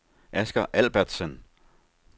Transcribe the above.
Asger Albertsen